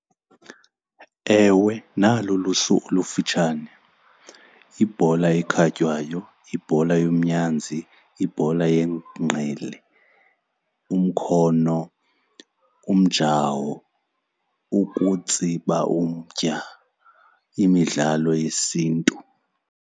Ewe, nalo ulusu olufutshane, yibhola ekhatywayo, yibhola yomnyazi, yibhola yengqele, umkhono, umjawo, ukutsiba umtya, imidlalo yesiNtu.